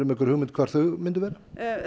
einhverja hugmynd hvar þau myndu vera